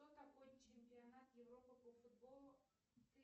кто такой чемпионат европы по футболу